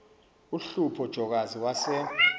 uhlupho jokazi wase